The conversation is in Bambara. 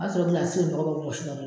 A b'a sɔrɔ gilasi ye nɔgɔ